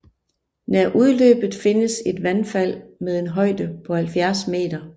Nær udløbet findes et vandfald med en højde på 70 m